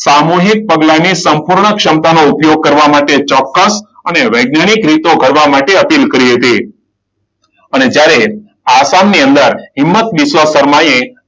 સામૂહિક પગલાની સંપૂર્ણ ક્ષમતા નો ઉપયોગ કરવા માટે ચોક્કસ અને વૈજ્ઞાનિક રીતો કરવા માટે અપીલ કરી હતી. અને જ્યારે આસામ ની અંદર હિંમત વિશ્વકર્માએ,